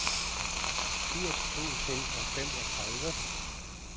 firs tusind og femogtredive